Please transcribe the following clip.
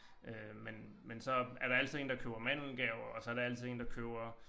Øh men men så er der altid én der køber mandelgave og så der altid én der køber